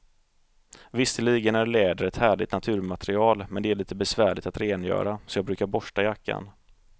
Visserligen är läder ett härligt naturmaterial, men det är lite besvärligt att rengöra, så jag brukar borsta jackan.